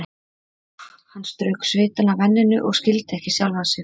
Úff, hann strauk svitann af enninu og skildi ekki sjálfan sig.